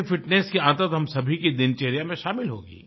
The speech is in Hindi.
इससे फिटनेस की आदत हम सभी की दिनचर्या में शामिल होगी